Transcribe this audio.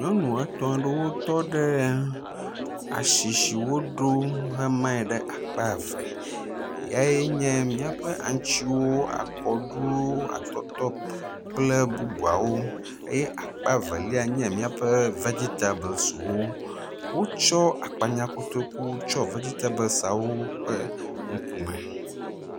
Nyɔnu etɔ̃ aɖewo tɔ ɖe asi si woɖo hemae ɖe akpa eve yea nye míaƒe aŋtsiwo, akɔɖuwo, atɔtɔ kple bubuawo eye akpa velia nye míaƒe vegitabesiwo. Wotsɔ akpanyakotokuwo tsɔ vegitabesiawo ƒe ŋku me.